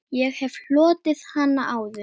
Ég hef hlotið hana áður.